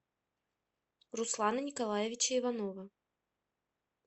руслана николаевича иванова